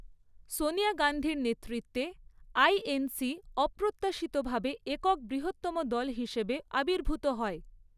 সোনিয়া গান্ধীর নেতৃত্বে আইএনসি অপ্রত্যাশিতভাবে একক বৃহত্তম দল হিসেবে আবির্ভূত হয়।